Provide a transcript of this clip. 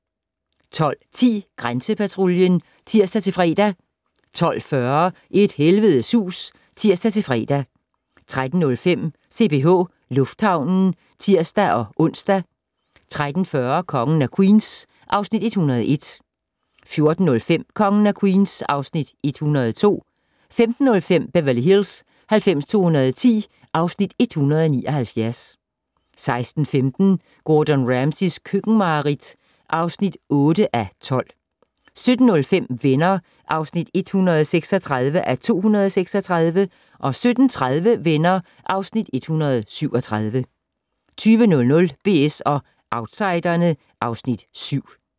12:10: Grænsepatruljen (tir-fre) 12:40: Et helvedes hus (tir-fre) 13:05: CPH Lufthavnen (tir-ons) 13:40: Kongen af Queens (Afs. 101) 14:05: Kongen af Queens (Afs. 102) 15:05: Beverly Hills 90210 (Afs. 179) 16:15: Gordon Ramsays køkkenmareridt (8:12) 17:05: Venner (136:236) 17:30: Venner (Afs. 137) 20:00: BS & Outsiderne (Afs. 7)